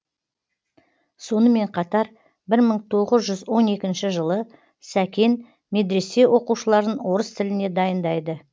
сонымен қатар мың тоғыз жүз он екінші жылы сәкен медресе оқушыларын орыс тіліне дайындайды